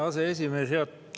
Hea aseesimees!